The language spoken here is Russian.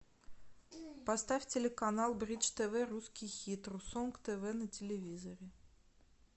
поставь телеканал бридж тв русский хит ру сонг тв на телевизоре